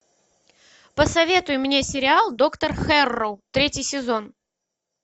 посоветуй мне сериал доктор хэрроу третий сезон